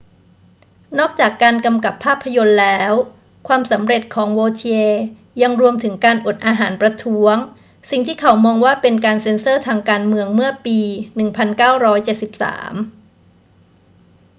นอกจากการกำกับภาพยนตร์แล้ว ความสำเร็จของ vautier ยังรวมถึงการอดอาหารประท้วงสิ่งที่เขามองว่าเป็นการเซ็นเซอร์ทางการเมืองเมื่อปี 1973